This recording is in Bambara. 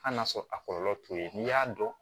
Hali n'a sɔrɔ a kɔlɔlɔ t'o ye n'i y'a dɔn